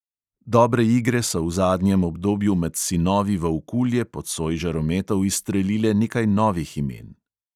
Dobre igre so v zadnjem obdobju med sinovi volkulje pod soj žarometov izstrelile nekaj novih imen.